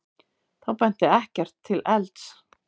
Þá benti ekkert til elds.